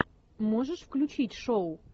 можешь включить шоу